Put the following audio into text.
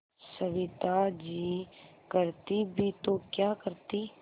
सविता जी करती भी तो क्या करती